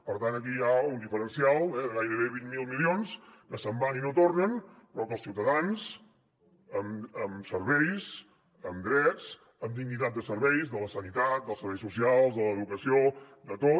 per tant aquí hi ha un diferencial eh de gairebé vint miler milions que se’n van i no tornen però que els ciutadans amb serveis amb drets amb dignitat de serveis de la sanitat dels serveis socials de l’educació de tot